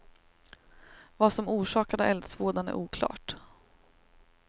Vad som orsakade eldsvådan är oklart.